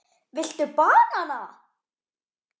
Viltu BANANA??